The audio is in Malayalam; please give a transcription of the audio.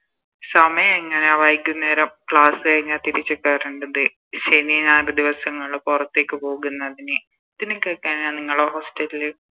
സമയെങ്ങനെയാ വൈകുന്നേരം Class കഴിഞ്ഞ തിരിച്ച് കേറണ്ടത് ശനി ഞായർ ദിവസങ്ങളില് പൊറത്തേക്ക് പോകുന്നതിന് പിന്നെ നിങ്ങളെ Hostel ല്